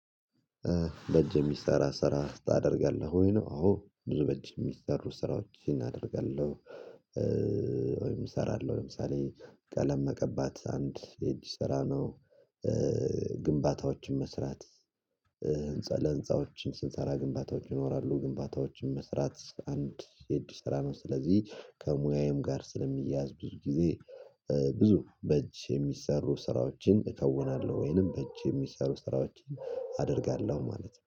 በእጅ የሚሰራ ስራ ታደርጋለህ ወይ ነው? አዎ ብዙ በእጅ የሚሰሩ ስራዎችን አደርጋለሁ። ወይም እሰራለሁ ለምሳሌ ቀለም መቀባት አንድ የእጅ ስራ ነው። ግንባታዎችን መስራት። ህንፃ ለህንፃዎችን ስንሰራ ግንባታዎች ይኖራሉ ግንባታዎችን መስራት አንድ የእጅ ስራ ነው። ስለዚህ ከሙያዬም ጋር ስለሚያዝ ብዙ ጊዜ ብዙ በእጅ የሚሰሩ ስራዎችን እከውናለሁ ወይንም በእጅ የሚሰሩ ስራዎችን አደርጋለሁ ማለት ነው